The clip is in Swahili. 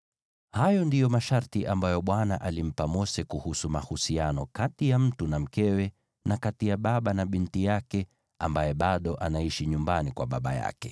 Haya ndiyo masharti ambayo Bwana alimpa Mose kuhusu mahusiano kati ya mtu na mkewe, na kati ya baba na binti yake ambaye bado anaishi nyumbani kwa baba yake.